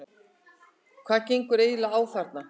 HVAÐ GENGUR EIGINLEGA Á ÞARNA?